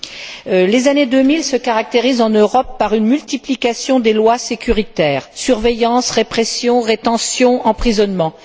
Monsieur le Président, les années 2000 se caractérisent en Europe par une multiplication des lois sécuritaires surveillance, répression, rétention, emprisonnement.